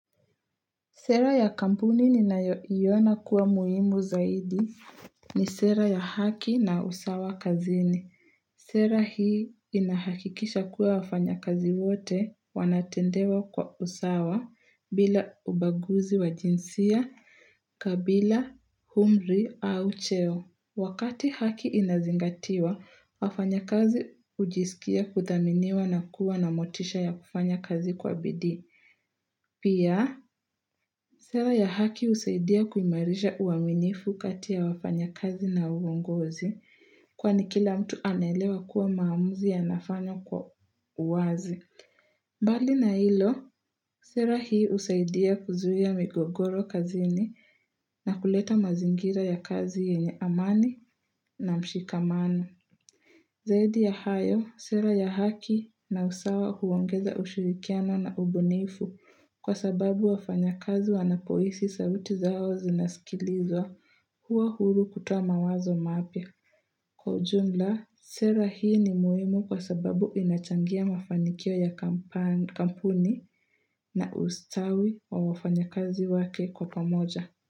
Sera ya kampuni ni naiona kuwa muimu zaidi ni sera ya haki na usawa kazini. Sera hii inahakikisha kuwa wafanya kazi wote wanatendewa kwa usawa bila ubaguzi wa jinsia, kabila, umri au cheo. Wakati haki inazingatiwa, wafanya kazi ujisikia kuthaminiwa na kuwa na motisha ya kufanya kazi kwa bidi. Pia, sera ya haki usaidia kumarisha uaminifu katia wafanya kazi na uongozi Kwani kila mtu anelewa kuwa maamuzi yanafanywa kwa uwazi Bali na ilo, sera hii usaidia kuzuhia migogoro kazini na kuleta mazingira ya kazi yenye amani na mshikamano Zaidi ya hayo, sera ya haki na usawa huongeza ushirikiano na ubunifu kwa sababu wafanya kazi wanapoisi sauti zao zinasikilizwa huwa huru kutuwa mawazo mapya Kwa ujumla, sera hii ni muhimu kwa sababu inachangia mafanikio ya kampuni na ustawi wa wafanya kazi wake kwa pamoja.